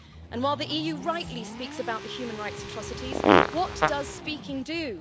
And while the EU rightly speaks about the human rights atrocities, what does speaking do?